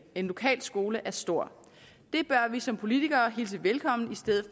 en lokal skole er stor og vi som politikere hilse velkommen i stedet